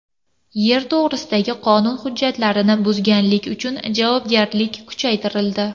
Yer to‘g‘risidagi qonun hujjatlarini buzganlik uchun javobgarlik kuchaytirildi.